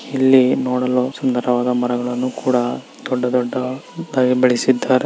ಇಲ್ಲಿ ನೋಡಲು ಸುಂದವಾದ ಮರಗಳನ್ನೂ ಕೂಡಾ ದೊಡ್ಡ ದೊಡ್ಡ ದಾಗಿ ಬೆಳೆಸಿದರೆ.